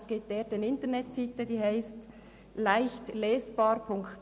Es gibt eine Internetseite mit dem Namen «leichtlesbar.ch».